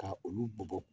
Ka olu bɔ bɔ